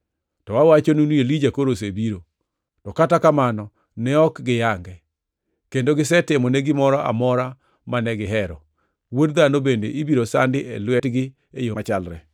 To awachonu ni Elija koro osebiro, to kata kamano ne ok giyange, kendo gisetimone gimoro amora mane gihero. Wuod Dhano bende ibiro sandi e lwetgi e yo machalre.”